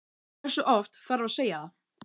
Hversu oft þarf að segja það?